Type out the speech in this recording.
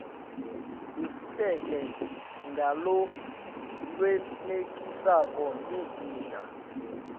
letfuleke ngalokwenetisako lizinga